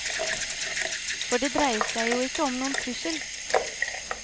For det dreier seg jo ikke om noen trussel.